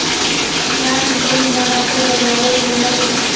या नंतर विमानाचा दरवाजा उघडला गेला.